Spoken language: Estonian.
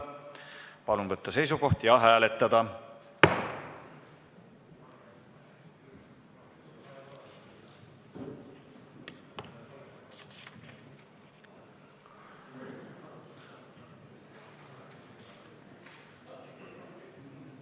Palun võtta seisukoht ja hääletada!